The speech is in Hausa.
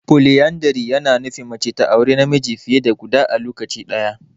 Poliyandari ya na nufin mace ta auri namiji fiye da guda a lokaci ɗaya.